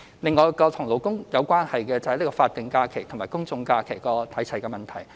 另外，與勞工有關的是法定假日與公眾假期日數看齊的問題。